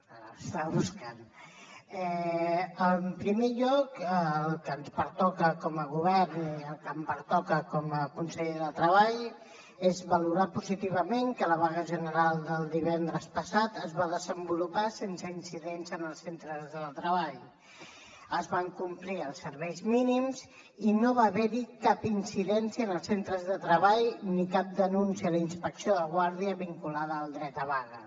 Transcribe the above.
l’estava buscant en primer lloc el que ens pertoca com a govern i el que em pertoca com a conseller de treball és valorar positivament que la vaga general del divendres passat es va desenvolupar sense incidents en els centres de treball es van complir els serveis mínims i no va haver hi cap incidència en els centres de treball ni cap denúncia a la inspecció de guàrdia vinculada al dret a vaga